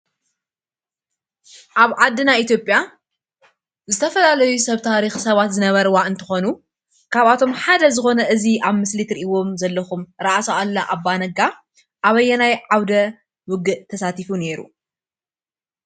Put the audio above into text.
ኣብ ዓድና ኢትዮጵያ ዝተፈላለዩ ሰብ ታሪኽ ሰባት ዝነበርዋ እንትኾኑ ካብኣቶም ሓደ ዝኾነ እዚ ኣብ ምስሊ ትርእይዎም ዘለኹም ራእሲ ኣሉላ ኣባ ነጋ ኣበየናይ ዓውደ ውግእ ተሳቲፉ ነይሩ?